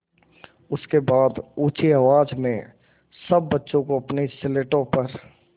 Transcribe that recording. उसके बाद ऊँची आवाज़ में सब बच्चों को अपनी स्लेटों पर